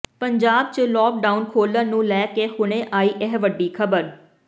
ਪੰਜਾਬ ਚ ਲੌਕਡਾਊਨ ਖੋਲਣ ਨੂੰ ਲੈ ਕੇ ਹੁਣੇ ਆਈ ਇਹ ਵੱਡੀ ਖਬਰ